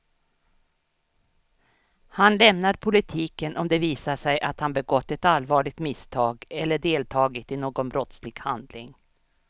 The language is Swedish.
Han lämnar politiken om det visar sig att han begått ett allvarligt misstag eller deltagit i någon brottslig handling.